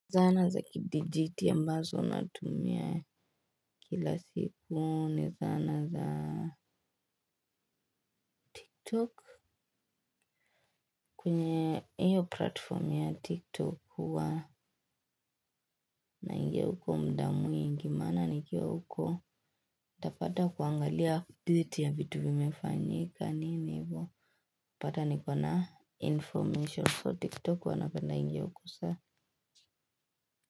Zana za kidijitali mbazo natumia kila siku ni zana za tiktok kwenye hiyo platform ya tiktok huwa naingia huko muda mwingi maana nikiwa huko utapata kuangalia dhiti ya vitu vimefanyika nini hivo. Utapata nikona information so tiktok huwa napenda kuingia huko sana.